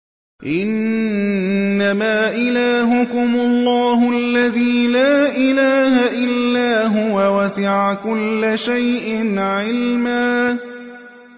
إِنَّمَا إِلَٰهُكُمُ اللَّهُ الَّذِي لَا إِلَٰهَ إِلَّا هُوَ ۚ وَسِعَ كُلَّ شَيْءٍ عِلْمًا